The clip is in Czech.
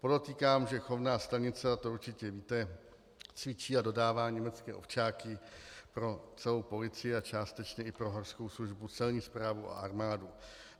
Podotýkám, že chovná stanice, a to určitě víte, cvičí a dodává německé ovčáky pro celou policii a částečně i pro horskou službu, Celní správu a armádu.